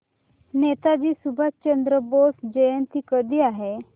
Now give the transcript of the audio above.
नेताजी सुभाषचंद्र बोस जयंती कधी आहे